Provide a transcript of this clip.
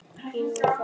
Ég á það eftir.